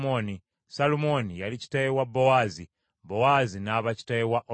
Salumooni yali kitaawe wa Bowaazi, Bowaazi n’aba kitaawe wa Obedi;